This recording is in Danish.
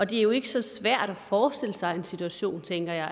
det er jo ikke så svært at forestille sig en situation tænker jeg